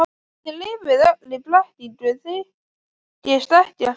Þið lifið öll í blekkingu, þykist ekkert skilja.